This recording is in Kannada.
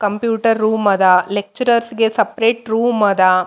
ಕಂಪ್ಯೂಟರ್ ರೋಮ್ ಅದ ಲೆಕ್ಚರರ್ಸ್ ಗೆ ಸಪ್ರೇಟ್ ರೂಮ್ ಅದ.